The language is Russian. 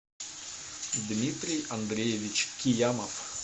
дмитрий андреевич киямов